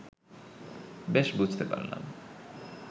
বেশ বুঝতে পারলাম